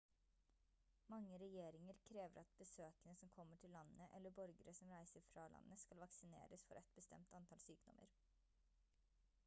mange regjeringer krever at besøkende som kommer til landet eller borgere som reiser fra landet skal vaksineres for et bestemt antall sykdommer